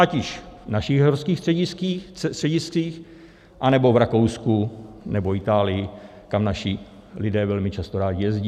Ať již v našich horských střediscích, anebo v Rakousku, nebo Itálii, kam naši lidé velmi často rádi jezdí.